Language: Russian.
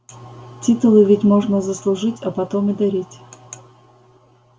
титулы ведь можно заслужить а потом и дарить